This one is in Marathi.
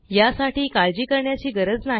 यासाठी काळजी करण्याची गरज नाही